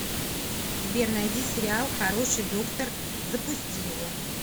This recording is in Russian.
сбер найди сериал хороший доктор запусти его